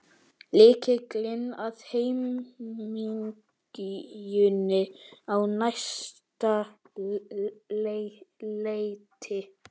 Lykillinn að hamingjunni á næsta leiti.